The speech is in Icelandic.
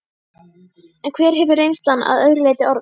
En hver hefur reynslan að öðru leyti orðið?